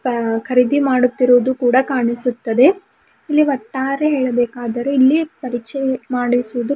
ಅ ಖರೀದಿ ಮಾಡುತ್ತಿರುವುದು ಕೂಡ ಕಾಣಿಸುತ್ತದೆ ಇಲ್ಲಿ ಒಟ್ಟಾರೆ ಹೇಳ್ಬೇಕಾದರೆ ಇಲ್ಲಿ ಪರಿಚಯ್ ಮಾಡಿಸುವುದು--